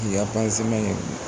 ye